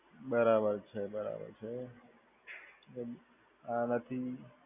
બરાબર છે બરાબર છે આ માંથી